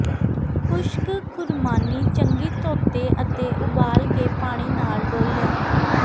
ਖੁਸ਼ਕ ਖੁਰਮਾਨੀ ਚੰਗੀ ਧੋਤੇ ਅਤੇ ਉਬਾਲ ਕੇ ਪਾਣੀ ਨਾਲ ਡੋਲ੍ਹਿਆ